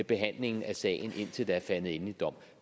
behandlingen af sagen indtil der er faldet endelig dom